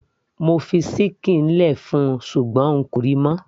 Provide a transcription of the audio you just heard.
mo fi ṣíkìn lẹ fún ṣùgbọ́n n kò ríi mọ́